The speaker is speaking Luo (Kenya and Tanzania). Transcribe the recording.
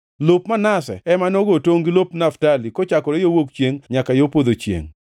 Lop Manase ema nogo tongʼ gi lop Naftali, kochakore yo wuok chiengʼ nyaka yo podho chiengʼ.